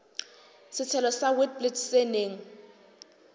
setshelo sa witblits se neng